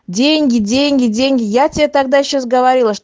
деньги деньги деньги я тебе тогда сейчас говорила чт